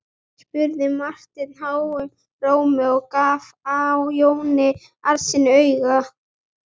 spurði Marteinn háum rómi og gaf Jóni Arasyni auga.